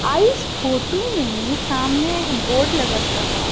आ इस फोटो में सामने एक बोर्ड लगत रह।